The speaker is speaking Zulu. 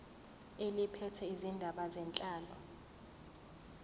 eliphethe izindaba zenhlalo